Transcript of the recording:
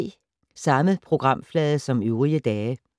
Samme programflade som øvrige dage